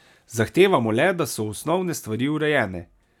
Zahtevamo le, da so osnovne stvari urejene.